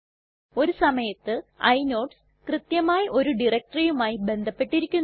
ഒരു സമയത്ത് ഇനോഡ്സ് കൃത്യമായി ഒരു directoryയുമായി ബന്ധപ്പെട്ടിരിക്കുന്നു